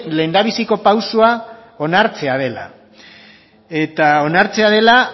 lehendabiziko pausoa onartzea dela eta onartzea dela